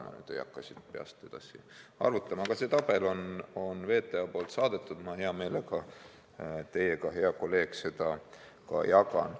Ma ei hakka siin peast edasi arvutama, aga see tabel on VTA-st saadetud ja ma hea meelega teiega, hea kolleeg, seda ka jagan.